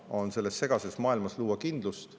Luua selles segases maailmas kindlust.